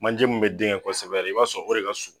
Manje min bɛ den kɛ kosɛbɛ, i b'a sɔrɔ o de ka surun.